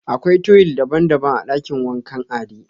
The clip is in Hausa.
Akwai tuwil daban-daban a dakin wankan Ade.